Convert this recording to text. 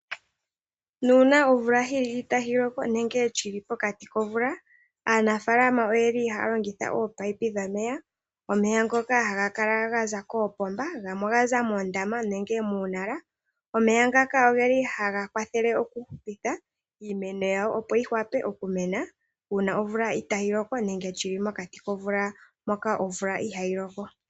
Nuuna omvula yili itayi loko nenge shili pokati komvula aanafaalama oyeli haya longitha ominino dhomeya, omeya ngoka haga kala Gaza koopomba ,gamwe ogaza muundama nenge muunala . Omeya ngaka ogeli haga kwathele oku hupitha iimeno yawo opo yiwape okumena uuna omvula itayi loko nenge mokati komvula mono omvula ihayi loko.